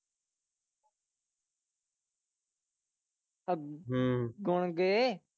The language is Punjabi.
ਅਹ ਗੇ।